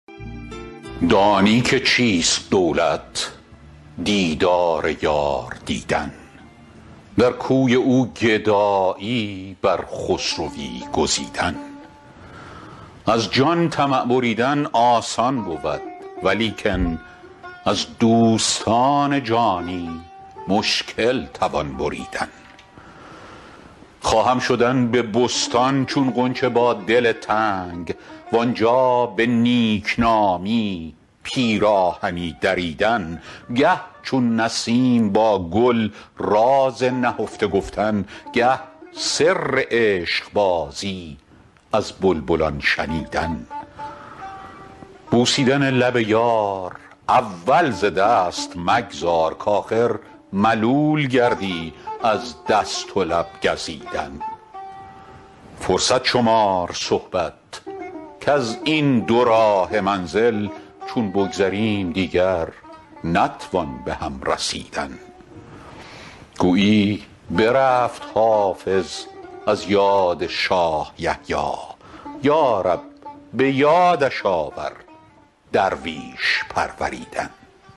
دانی که چیست دولت دیدار یار دیدن در کوی او گدایی بر خسروی گزیدن از جان طمع بریدن آسان بود ولیکن از دوستان جانی مشکل توان بریدن خواهم شدن به بستان چون غنچه با دل تنگ وآنجا به نیک نامی پیراهنی دریدن گه چون نسیم با گل راز نهفته گفتن گه سر عشق بازی از بلبلان شنیدن بوسیدن لب یار اول ز دست مگذار کآخر ملول گردی از دست و لب گزیدن فرصت شمار صحبت کز این دوراهه منزل چون بگذریم دیگر نتوان به هم رسیدن گویی برفت حافظ از یاد شاه یحیی یا رب به یادش آور درویش پروریدن